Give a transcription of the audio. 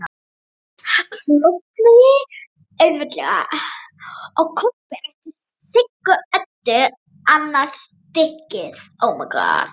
Hann klofnaði auðveldlega og Kobbi rétti Sigga Öddu annað stykkið.